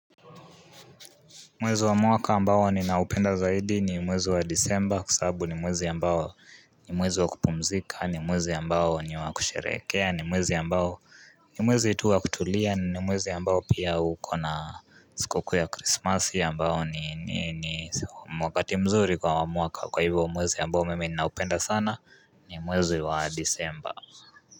Mwezi wa mwaka ambao ninaupenda zaidi ni mwezi wa disemba kwa sababu ni mwezi wa kupumzika ni mwezi wa kusherekea ni mwezi ambao ni mwezi tu wa kutulia ni mwezi ambao pia ukona sikukuu ya christmasi ambao ni wakati mzuri kwa mwaka kwa hivyo mwezi ambayo mimi ni naupenda sana ni mwezi wa disemba.